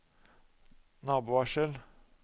nabovarsel